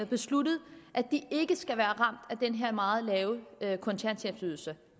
besluttet at de ikke skal være ramt af den her meget lave kontanthjælpsydelse